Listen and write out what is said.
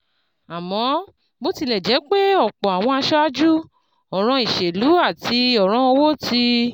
Àmọ́, bó tilẹ̀ jẹ́ pé ọ̀pọ̀ àwọn aṣáájú, ọ̀ràn ìṣèlú àti ọ̀ràn owó ti